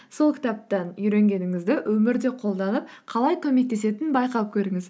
сол кітаптан үйренгеніңізді өмірде қолданып қалай көмектесетінін байқап көріңіз